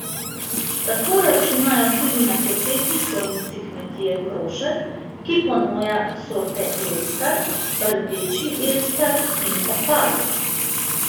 Toliko računajo tudi na sosednji stojnici kmetije Krošelj, ki ponuja sorte elstar, rdeči elstar in opal.